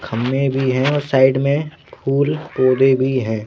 खन्ने भी हैं और साइड में फूल पौधे भी हैं।